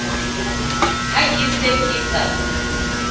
ha ke se ke sa